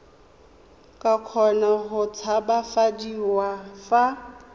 ka kgona go tshabafadiwa fa